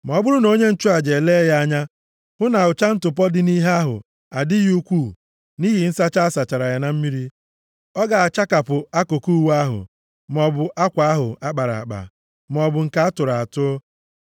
Ma ọ bụrụ na onye nchụaja elee ya anya hụ na ụcha ntụpọ dị nʼihe ahụ adịghị ukwuu nʼihi nsacha a sachara ya na mmiri, ọ ga-achakapụ akụkụ uwe ahụ, maọbụ akwa ahụ a kpara akpa maọbụ nke a tụrụ atụ.